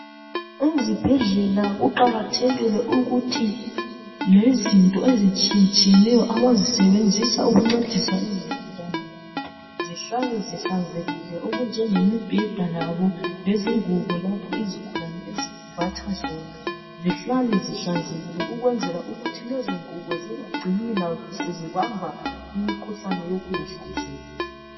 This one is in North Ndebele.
Ezibhedlela kuqakathekile ukuthi lezinto ezitshiye tshiyeneyo abazisebenzisa ukuncedisa izigulane zihlale zihlanzekile okunjenge mibheda yabo lezingubo lapho izigulane ezembatha zona, zihlale zihlanzekile ukwenzela ukuthi lezo ngubo lazo zingacini sezibamba umkhuhlane wokunga hlanzeki.